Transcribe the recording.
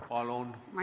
Palun!